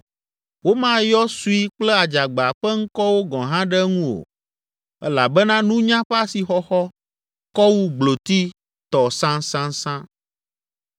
Womayɔ sui kple adzagba ƒe ŋkɔwo gɔ̃ hã ɖe eŋu o elabena nunya ƒe asixɔxɔ kɔ wu gbloti tɔ sãsãsã.